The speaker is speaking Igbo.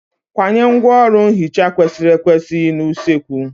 Kwanye ngwaọrụ nhicha kwesịrị ekwesị n'usekwu.